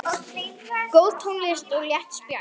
Góð tónlist og létt spjall.